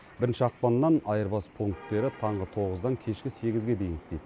бірінші ақпаннан айырбас пунктері таңғы тоғыздан кешкі сегізге дейін істейді